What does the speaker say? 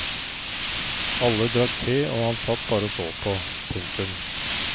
Alle drakk te og han satt bare og så på. punktum